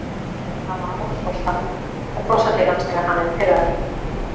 Ná af honum boltann og brosa til hans þegar hann er pirraður